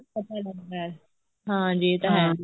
ਪਤਾ ਲੱਗਦਾ ਹੈ ਹਾਂਜੀ ਇਹ ਤਾਂ ਹੈ